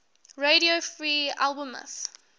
radio free albemuth